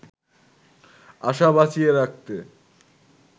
আশা বাঁচিয়ে রাখতে